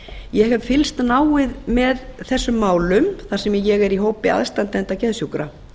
ég hef fylgst náið með þessu málum þar sem ég er í hópi aðstandenda geðsjúkra